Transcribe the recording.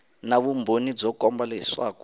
na vumbhoni byo komba leswaku